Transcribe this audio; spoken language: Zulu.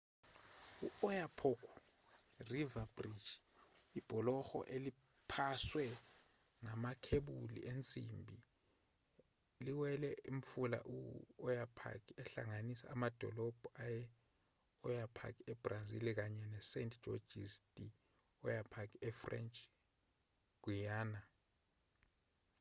i-oyapock river bridge ibhuloho eliphaswe ngamakhebula ensimbi liwelela umfula i-oyapock uhlanganisa amadolobha ase-oiapque ebrazil kanye nesaint-georges de i'oyapock efrench guiana